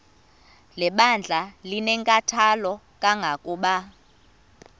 lebandla linenkathalo kangangokuba